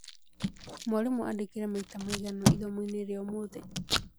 Mwarimu andĩkire maita maigana ithomoinĩ rĩa ũmũthĩ?